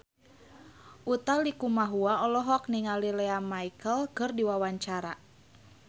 Utha Likumahua olohok ningali Lea Michele keur diwawancara